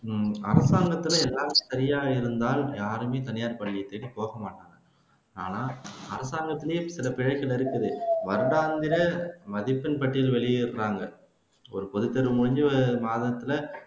அரசாங்கத்துல ஏதாச்சும் சரியா இருந்தா யாருமே தனியார் பள்ளியை தேடி போகமாட்டாங்க ஆனா அரசாங்கத்துலயே இத்தனை இருக்குது மதிப்பெண் பட்டியல் வெளியிடுறாங்க ஒரு பொதுத்தேர்வு முடிஞ்சு மாதத்துல